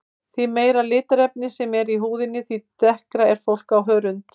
Því meira litarefni sem er í húðinni því dekkra er fólk á hörund.